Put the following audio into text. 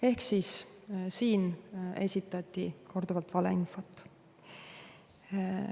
Ehk siis siin esitati korduvalt valeinfot.